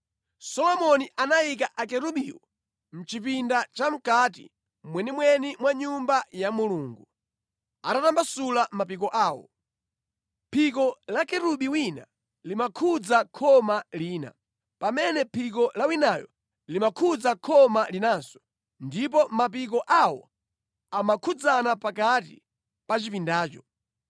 Solomoni anayika akerubiwo mʼchipinda cha mʼkati mwenimweni mwa Nyumba ya Mulungu, atatambasula mapiko awo. Phiko la kerubi wina limakhudza khoma lina, pamene phiko la winayo limakhudza khoma linanso ndipo mapiko awo amakhudzana pakati pa chipindacho.